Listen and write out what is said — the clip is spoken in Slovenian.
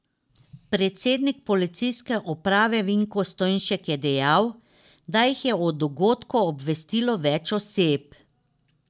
Predstavnik policijske uprave Vinko Stojnšek je dejal, da jih je o dogodku obvestilo več oseb.